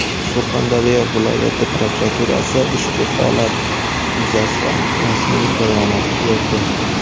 Surxondaryo viloyati prokuraturasi ushbu holat yuzasidan rasmiy bayonot berdi.